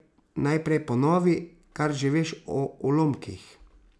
Najprej ponovi, kar že veš o ulomkih.